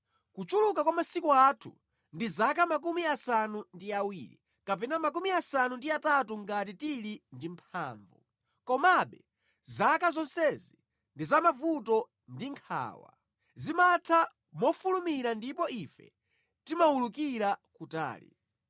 Kuchuluka kwa masiku athu ndi 70, kapena 80 ngati tili ndi mphamvu; komabe zaka zonsezi ndi za mavuto ndi nkhawa, zimatha mofulumira ndipo ife timawulukira kutali.